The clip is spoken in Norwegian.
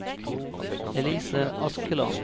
Elise Askeland